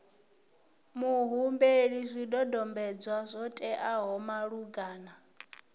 muhumbeli zwidodombedzwa zwo teaho malugana